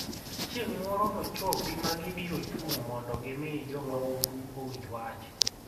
Chieng' moro nochopi ma gibiro chung' mondo gimi jo mahundu owinj wach.